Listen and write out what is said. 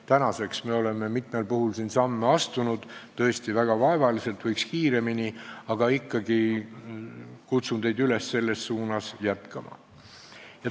Tänaseks me oleme mitmel puhul siin samme astunud, tõesti väga vaevaliselt, võiks kiiremini, aga kutsun teid üles ikka selles suunas jätkama.